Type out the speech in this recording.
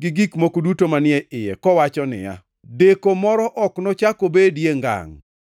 gi gik moko duto manie iye kowacho niya, “Deko moro ok nochak obedie ngangʼ!”